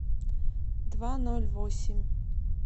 два ноль восемь